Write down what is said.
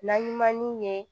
Naɲumanniw ye